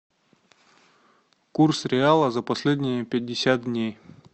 курс реала за последние пятьдесят дней